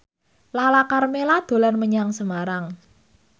Lala Karmela dolan menyang Semarang